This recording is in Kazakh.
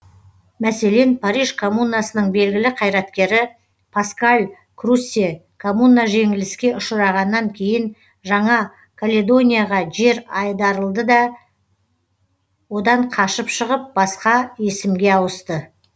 мәселен париж камуннасының белгілі қайраткері паскаль круссе комунна жеңіліске ұшырағаннан кейін жаңа каледонияға жер айдарылды да одан қашып шығып басқа есімге ауысты